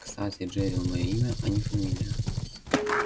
кстати джерилл моё имя а не фамилия